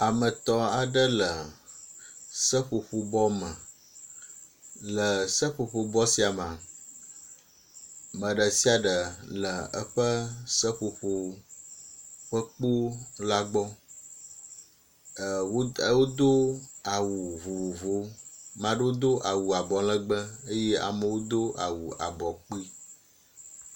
Ame etɔ̃ aɖe le seƒoƒo bɔ me. Le seƒoƒo bɔ sia mea, me ɖe sia ɖe le eƒe seƒoƒo ƒe kpo la gbɔ. E wo e wodo awu vovovowo. Maɖewo do awu abɔlɔgbe eye amewo do awu abɔ kpi.